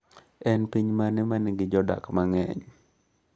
En piny mane ma nigi jodak mang’eny?